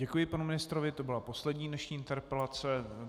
Děkuji panu ministrovi, to byla poslední dnešní interpelace.